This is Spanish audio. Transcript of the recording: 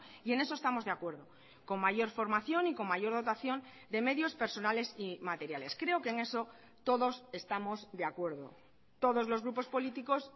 y en eso estamos de acuerdo con mayor formación y con mayor dotación de medios personales y materiales creo que en eso todos estamos de acuerdo todos los grupos políticos